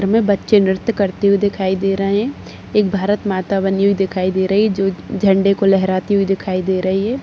हमे बच्चे नृत्य करते हुए दिखाई दे रहे है एक भारत माता बनी हुई दिखाई दे रही जो झंडे को लहराते हुए दिखाई दे रही--